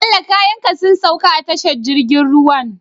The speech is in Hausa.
Bello kayan ka sun sauka a tashar jirgin ruwan?